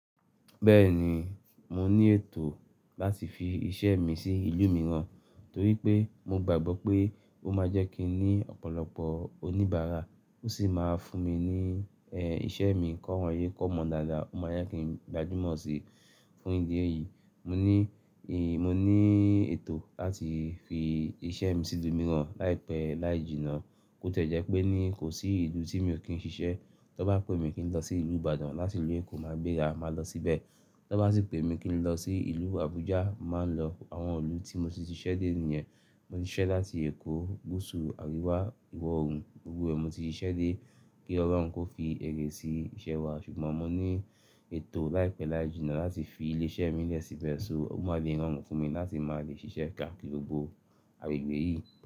Bẹ́ẹ̀ni, mo ní ètò láti fi iṣẹ́ mi sí ìlú mìíràn, torí pé mo gbàgbọ́ pé ó máa jẹ́ kí n ní ọ̀pọ̀lọpọ̀ oníbàárà, ó sì máa fún mi ní ẹ, iṣẹ́ mi kọ́rọ̀ yé kó mọ̀ dáadáa, ó máa yá kí n gbajúmọ̀ síi fún ìdí èyí. Mo ní ì, mo ní ètò láti fi iṣẹ́ mi sí ìlú mìíràn láìpẹ́ láì jìnnà. Bi o tiẹ́ jẹ́ pé ní, kò sí ìlú tí mi ò kí ń ṣiṣẹ́. Tí wọ́n bá pè mí kí n lọ sí ìlú Ìbàdàn láti ìlú Èkó, màá gbérá, màá lọ síbẹ̀. Tí wọ́n bá sì pè mí kí n lọ sí ìlú Abuja, màá lọ. Àwọn ìlú tí mo ti ṣiṣẹ́ dé nìyẹn. Mo ti ṣiṣẹ́ láti Èkó, gusu, aríwá, ìwọ̀ oòrùn, gbogbo ẹ. Mo ti ṣiṣẹ́ dé kí Ọlọ́run kó fi èrè sí iṣẹ́ wa. Ṣùgbọ́n mo ní ètò láìpẹ́ láì jìnnà láti fi ilé iṣẹ́ mí lè síbẹ̀, so, ó máa le rorun fún mi láti máa le ṣiṣẹ́ káàkiri gbogbo agbègbè yìí.